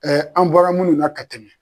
an bɔra munnu na ka tɛmɛ.